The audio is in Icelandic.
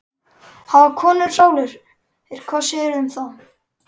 Hafa konur sálir, hvað segirðu um það?